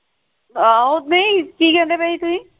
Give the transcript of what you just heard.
ਹਾਂ ਓਦੇਂ ਹੀ ਕਿ ਕਹਿੰਦੇ ਪਏ ਸੀ ਤੁਸੀਂ